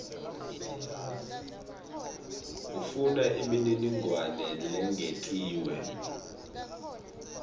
ufuna imininingwane lengetiwe